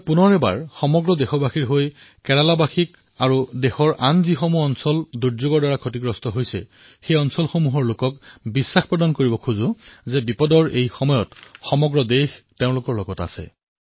পুনৰবাৰ সকলো দেশবাসীৰ তৰফৰ পৰা কেৰালাৰ জনসাধাৰণ আৰু দেশৰ অন্য প্ৰান্তত যত যত বিপত্তিৰ সৃষ্টি হৈছে মই আপোনালোকক বিশ্বাস প্ৰদান কৰিব বিচাৰিছোঁ যে সমগ্ৰ দেশবাসী বিপত্তিৰ সময়ত আপোনালোকৰ ওচৰত আছে